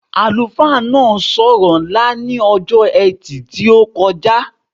Àlùfáà náà so ọ̀rọ̀ ńlá ní ọjọ́ etì tí o kọjá